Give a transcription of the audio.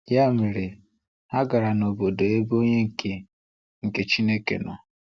Ya mere, ha gara n’obodo ebe onye nke nke Chineke nọ.